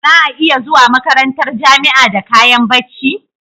Za'a iya zuwa makarantar jamia da kayan bacci